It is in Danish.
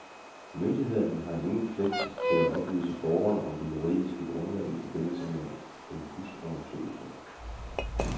Myndigheden har ingen pligt til at oplyse borgeren om det juridiske grundlag i forbindelse med en husundersøgelse.